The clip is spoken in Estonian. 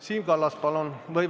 Siim Kallas, palun!